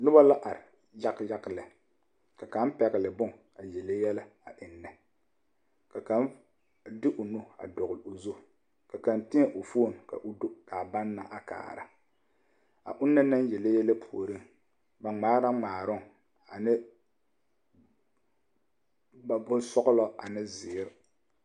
Noba la are yaɡayaɡa lɛ ka kaŋ pɛɡele bon a yele yɛlɛ ennɛ ka kaŋ de o nu dɔɡele o zu ka kaŋ tēɛ o foone ka o do ka a ba na kaara a ona na yele yɛlɛ puoriŋ ba ŋmaɛ ŋmaaroŋ ane bonsɔɡelɔ ane bonziiri.